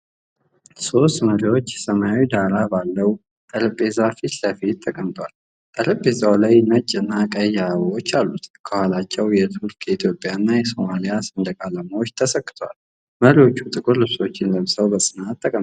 ሦስት መሪዎች ሰማያዊ ዳራ ባለው ጠረጴዛ ፊት ለፊት ተቀምጠዋል። ጠረጴዛው ላይ ነጭና ቀይ አበባዎች አሉት፣ ከኋላቸው የቱርክ፣ የኢትዮጵያና የሶማሊያ ሰንደቅ ዓላማዎች ተሰክተዋል። መሪዎቹ ጥቁር ልብሶችን ለብሰው በጽናት ተቀምጠዋል።